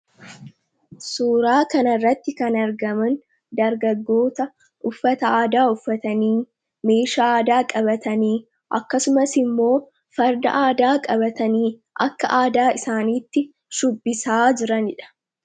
Suuraa kana irratti kan argaman dargaggoota uffata aadaa uffatanii meesha aadaa qabatanii akkasumas immoo farda aadaa qabatanii akka aadaa isaaniitti shubbisaa jiraniidha.